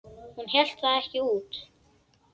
Hún hélt það ekki út!